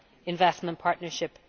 investment partnership.